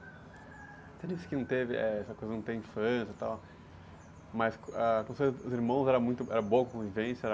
Você disse que não teve, eh, essa coisa de não ter infância e tal, mas com, ah, com seus, com os irmãos era boa a convivência,